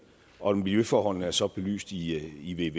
og miljøforholdene er så belyst i